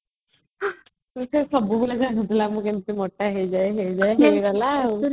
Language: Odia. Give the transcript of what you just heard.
ସେ ସବୁ ବେଳେ ଭାବୁଥିଲା ମୁଁ କେମିତି ମୋଟ ହେଇଯାଏ ହେଇଗଲା